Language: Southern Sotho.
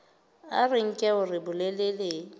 a re nke hore bolelele